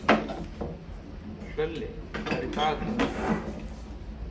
Hlölli, hvað er í dagatalinu í dag?